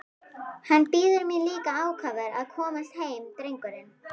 Hann bíður mín líka ákafur að komast heim drengurinn!